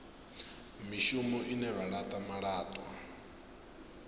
mishumo ine vha laṱa malaṱwa